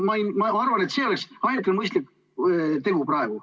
Ma arvan, et see oleks praegu ainukene mõistlik tegu.